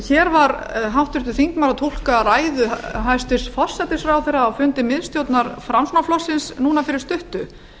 hér var háttvirtur þingmaður að túlka ræðu hæstvirts forsætisráðherra á fundi miðstjórnar framsóknarflokksins núna fyrir stuttu